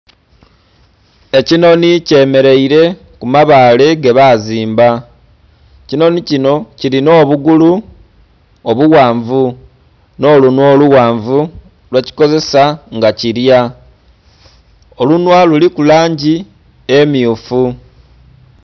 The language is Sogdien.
Ekinhonhi kye mereire ku mabale ge bazimba ekinhonhi kinho kilinha obugulu obughanvu nho lunhwa olughanvu lwe kikozesa nga kilya, olunhwa luliku langi emyufu.